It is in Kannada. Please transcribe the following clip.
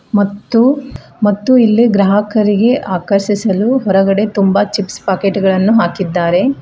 ಮತ್ತು ಮತ್ತು ಇಲ್ಲಿ ಗ್ರಾಹಕರಿಗೆ ಆಕರ್ಷಿಸಲು ಹೊರಗಡೆ ತುಂಬಾ ಚಿಪ್ಸ್ ಪ್ಯಾಕೆಟ್ ಗಳನ್ನು ಹಾಕಿದ್ದಾರೆ.